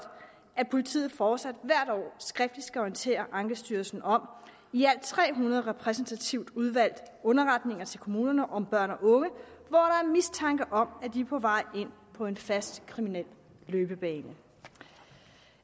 at politiet fortsat hvert år skriftligt skal orientere ankestyrelsen om i alt tre hundrede repræsentativt udvalgte underretninger til kommunerne om børn og unge hvor der er mistanke om at de er på vej ind på en fast kriminel løbebane